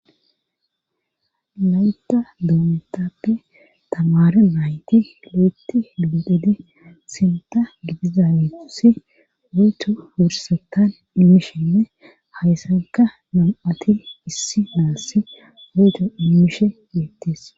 laytta doometappe tamara nayti lo7etti gibiqidi sinta gidiza wetusi wuyto wursatan immishenne hayssanka nam7ati issi naassi wuyto immishe yeettees